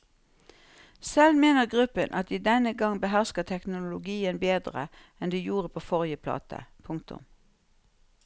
Selv mener gruppen at de denne gang behersker teknologien bedre enn de gjorde på forrige plate. punktum